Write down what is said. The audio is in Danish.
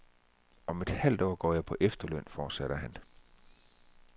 Om et halvt år går jeg på efterløn, fortsatte han.